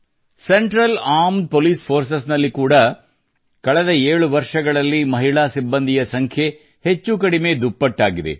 central armed police forces ನಲ್ಲಿ ಕೂಡಾ ಕಳೆದ ಏಳು ವರ್ಷಗಳಲ್ಲಿ ಮಹಿಳಾ ಸಿಬ್ಬಂದಿಯ ಸಂಖ್ಯೆ ಹೆಚ್ಚು ಕಡಿಮೆ ದುಪ್ಪಟ್ಟಾಗಿದೆ